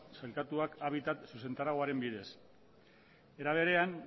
sailkatuak habitat zuzentarauaren bidez era berean